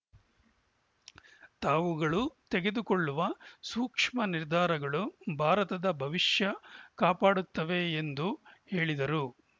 ತಾವುಗಳು ತೆಗೆದುಕೊಳ್ಳುವ ಸೂಕ್ಷ್ಮ ನಿರ್ಧಾರಗಳು ಭಾರತದ ಭವಿಷ್ಯ ಕಾಪಾಡುತ್ತವೆ ಎಂದು ಹೇಳಿದರು